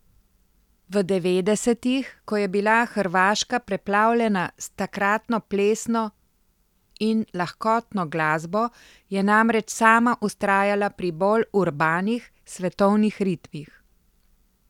V devetdesetih, ko je bila Hrvaška preplavljena s takratno plesno in lahkotno glasbo, je namreč sama vztrajala pri bolj urbanih, svetovnih ritmih.